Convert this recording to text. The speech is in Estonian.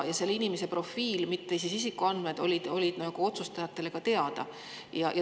Selle inimese profiil, mitte isikuandmed, oli otsustajatele teada.